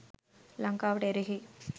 ලංකාවට එරෙහි?